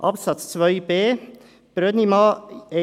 Absatz 2b Buchstabe b, Brönnimann: